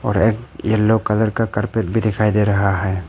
एक yellow colour का carpet भी दिखाई दे रहा है।